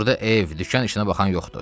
Burda ev, dükan işinə baxan yoxdur.